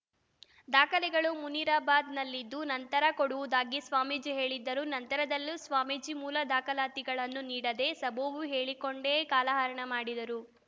ದಾಖಲೆಗಳು ಮುನಿರಬಾದ್‌ನಲ್ಲಿದ್ದು ನಂತರ ಕೊಡುವುದಾಗಿ ಸ್ವಾಮೀಜಿ ಹೇಳಿದ್ದರು ನಂತರದಲ್ಲೂ ಸ್ವಾಮೀಜಿ ಮೂಲ ದಾಖಲಾತಿಗಳನ್ನು ನೀಡದೇ ಸಬೂಬು ಹೇಳಿಕೊಂಡೇ ಕಾಲಹರಣ ಮಡಿದರು